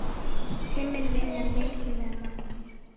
Tíminn vinnur mikið með manni.